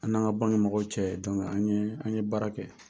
An n'an ka banki mɔgɔw cɛ an ye baara kɛ